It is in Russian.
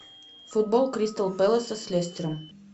футбол кристал пэласа с лестером